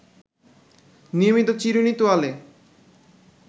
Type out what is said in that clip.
নিয়মিত চিরুনি, তোয়ালে